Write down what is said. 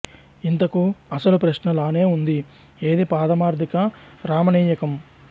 ఇంతకు అసలు ప్రశ్న లానే ఉంది ఏది పారమార్ధిక రామణీయకం